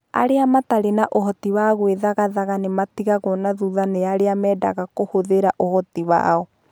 Arĩa matarĩ na ũhoti wa gwĩthagathaga nĩ matigagwo na thutha nĩ arĩa mendaga kũhũthĩra ũhoti wao.